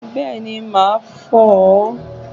Bẹ́ẹ̀ni, màá fò ó